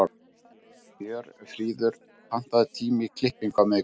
Hjörfríður, pantaðu tíma í klippingu á miðvikudaginn.